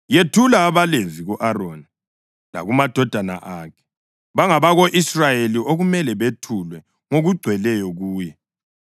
Yethula abaLevi ku-Aroni lakumadodana akhe; bangabako-Israyeli okumele bethulwe ngokugcweleyo kuye.